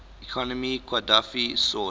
economy qadhafi sought